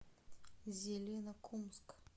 зеленокумск